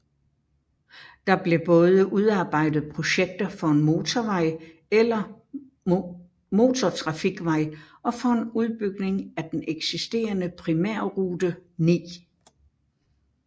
Der blev både udarbejdet projekter for en motorvej eller motortrafikvej og for en udbygning af den eksisterende Primærrute 9